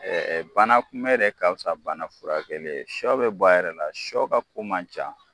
Ɛɛ bana kunbɛ de ka fisa bana furakɛli ye. Sɔ be bɔ a yɛrɛ la sɔ ka ko man ca.